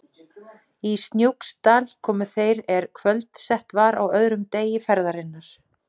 Í Snóksdal komu þeir er kvöldsett var á öðrum degi ferðarinnar.